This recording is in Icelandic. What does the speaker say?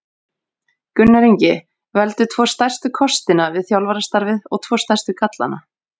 Gunnar Ingi Veldu tvo stærstu kostina við þjálfarastarfið og tvo stærstu gallana?